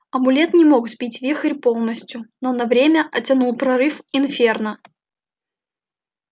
амулет не мог сбить вихрь полностью но на время оттянул прорыв инферно